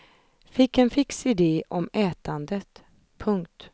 Fick en fix idé om ätandet. punkt